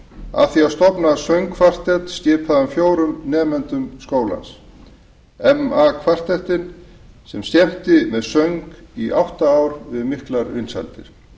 að því að stofna söngkvartett skipaðan fjórum nemendum skólans meðal annars kvartettinn sem skemmti með söng í átta ár við miklar vinsældir